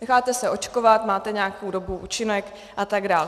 Necháte se očkovat, máte nějakou dobu účinek a tak dál.